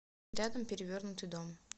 рядом перевернутый дом